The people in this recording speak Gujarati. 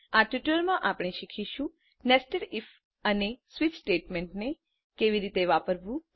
આ ટ્યુટોરીયલમાં આપણે શીખીશું નેસ્ટેડ ઇફ અને સ્વિચ સ્ટેટમેન્ટને કેવી રીતે વાપરવું